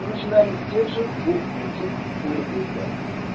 мы начинаем с тех же двух курсов улипристала